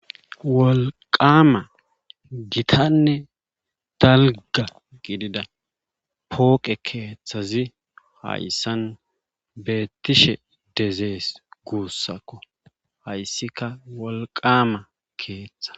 Wolqqama gitanne dalgga gidida pooqe keeththazi hayssan beetishe dezes guussakko hayssikka wolqaama keetha.